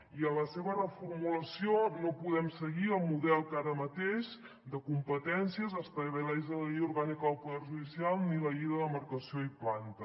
i en la seva reformulació no podem seguir el model que ara mateix de competències estableix la llei orgànica del poder judicial ni la llei de demarcació i planta